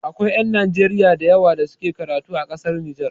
Akwai ƴan Najeriya da yawa da suke karatu a ƙasar Nijar